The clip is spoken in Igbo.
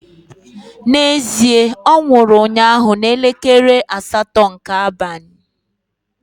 Na ezie, onwuru unnya na elekele asato nke abanyi